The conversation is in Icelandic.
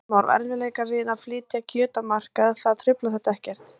Kristján Már: Erfiðleikar við að flytja kjöt á markað, það truflar þetta ekkert?